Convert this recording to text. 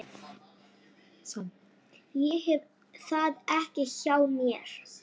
Ég hef það ekki hjá mér.